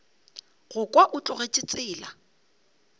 go kwa o tlogetše tsela